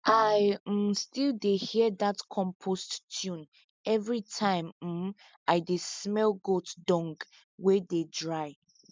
i um still dey hear dat compost tune every time um i dey smell goat dung wey dey dry